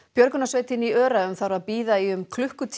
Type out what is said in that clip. björgunarsveitin í Öræfum þarf að bíða í um klukkutíma